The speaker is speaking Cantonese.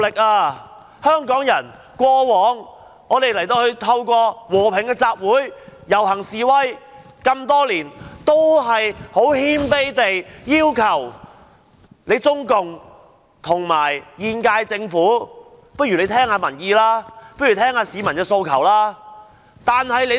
過去，香港人和平集會、遊行示威，多年來均謙卑地要求"中共"及本屆政府聽取民意，聽取市民的訴求。